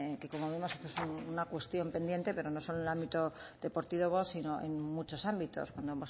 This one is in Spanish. que como vemos es una cuestión pendiente pero no solo en el ámbito deportivo sino en muchos ámbitos cuando